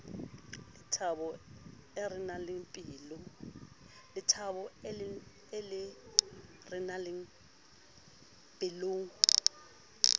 le thabo e renang pelong